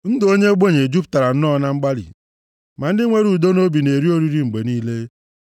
Ndụ onye ogbenye jupụtara nnọọ na mgbalị, ma ndị nwere udo nʼobi na-eri oriri mgbe niile.